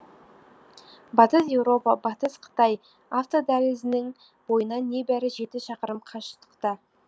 батыс еуропа батыс қытай автодәлізінің бойынан небәрі жеті шақырым қашықтықта